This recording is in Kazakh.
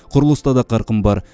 құрылыста да қарқын бар